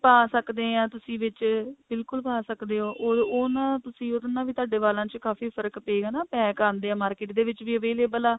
ਪਾ ਸਕਦੇ ਆ ਤੁਸੀਂ ਵਿੱਚ ਬਿਲਕੁਲ ਪਾ ਸਕਦੇ ਹੋ ਉਹ ਉਹਨਾ ਤੁਸੀ ਉਹਦੇ ਨਾਲ ਵੀ ਤੁਹਾਡੇ ਵਾਲਾਂ ਵਿੱਚ ਕਾਫੀ ਫਰਕ਼ ਪਾਏਗਾ ਨਾ pack ਆਂਦੇ ਨੇ market ਦੇ ਵਿੱਚ ਵੀ available ਆ